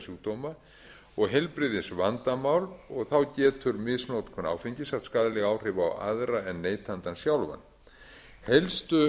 sjúkdóma og heilbrigðisvandamál og þá getur misnotkun áfengis haft skaðleg áhrif á aðra en neytandann sjálfan helstu